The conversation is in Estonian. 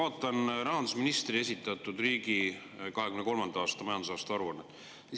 Ma vaatan rahandusministri esitatud riigi 2023. aasta majandusaasta aruannet.